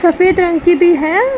सफेद रंग की भी है।